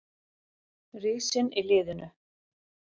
Risinn í liðinu.